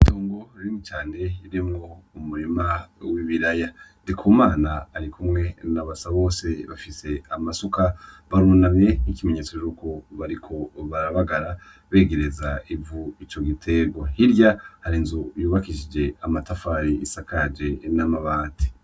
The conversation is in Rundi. Itongo rinini cane ririmwo umurima w‘ ibiraya. NDIKUMANA arikumwe na BASABOSE bafise amasuka barunamye nk‘ ikimenyetso yuko bariko barabagara begereza ivu ry‘ ico giterwa. Hirya hari inzu yubakishijwe amatafari isakajwe n‘ amabati .